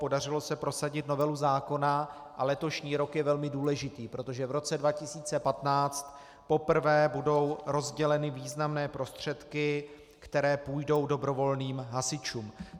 Podařilo se prosadit novelu zákona a letošní rok je velmi důležitý, protože v roce 2015 poprvé budou rozděleny významné prostředky, které půjdou dobrovolným hasičům.